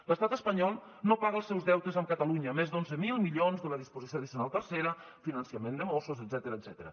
l’estat espanyol no paga els seus deutes amb catalunya més d’onze mil milions de la disposició addicional tercera finançament de mossos etcètera